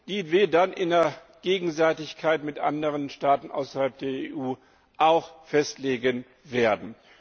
die wir dann in Gegenseitigkeit mit anderen Staaten außerhalb der EU festlegen werden.